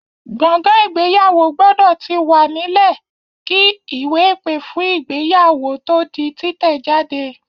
Gbọ̀ngàn ìgbéyàwó gbọ́dọ̀ ti wà nílẹ̀ kí ìwé-ìpè fún ìgéyàwó tó di títẹ̀ jáde.